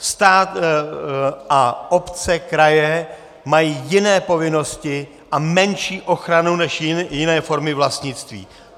Stát a obce, kraje mají jiné povinnosti a menší ochranu než jiné formy vlastnictví.